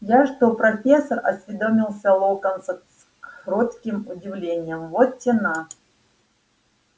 я что профессор осведомился локонс с кротким удивлением вот те на